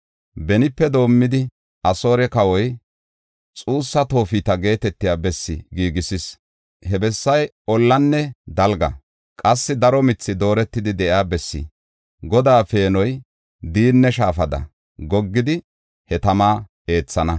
Benipe doomidi Asoore kawoy xuussa Toofeta geetetiya bessi giigis. He bessay ollanne dalga; qassi daro mithi dooretidi de7iya bessi. Godaa peenoy diinne shaafada goggidi, he tama eethana.